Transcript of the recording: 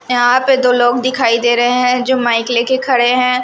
यहां पे दो लोग दिखाई दे रहे हैं जो माइक लेके खड़े हैं।